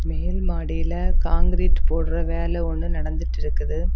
மேல்மாடில concrete போட்ற வேலை ஒன்று நடந்துட்டு இருக்குது.